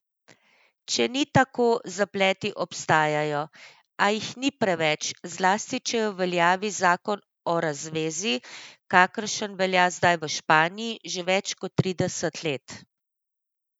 Če ni tako, zapleti obstajajo, a jih ni preveč, zlasti če je v veljavi zakon o razvezi, kakršen velja zdaj v Španiji že več kot trideset let.